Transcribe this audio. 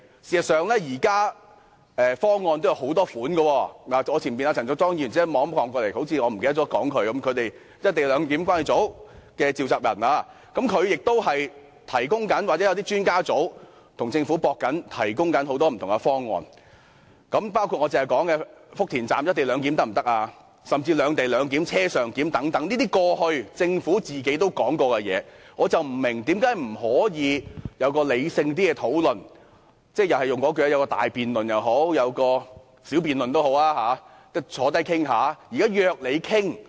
事實上，現時方案也有很多種，坐在我前方的陳淑莊議員立即回頭看我，好像我忘了提及她似的，她是"一地兩檢"關注組的召集人，她可能有些專家組織正與政府討論，提供很多不同的方案，包括我剛才提及在福田站"一地兩檢"，甚至"兩地兩檢"或"車上檢"等這些是政府過去也有提及的方案，我不明白為何不可以有較理性的討論，不論是大辯論或小辯論，大家坐下來討論。